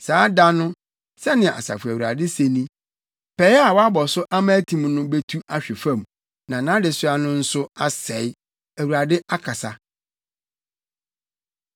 “Saa da no,” sɛnea Asafo Awurade se ni, “pɛe a wɔabɔ so ama atim no, betu ahwe fam na nʼadesoa no nso asɛe, Awurade, akasa!”